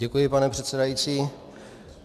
Děkuji, pane předsedající.